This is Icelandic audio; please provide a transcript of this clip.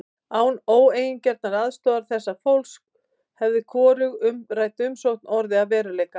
Án óeigingjarnrar aðstoðar þessa fólks hefði hvorug umrædd rannsókn orðið að veruleika.